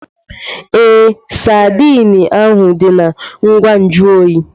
Ee, Sadiin ahu dị na ngwa nju oyi.